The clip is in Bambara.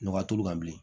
Nɔgɔ t'olu kan bilen